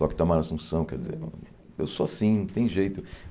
Toco Itamar Asunção, quer dizer... Eu sou assim, não tem jeito.